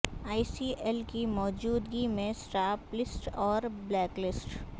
ای C L کی موجودگی میں اسٹاپ لسٹ اور بلیک لسٹ